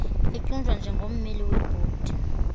etyunjwa njengommeli webhodi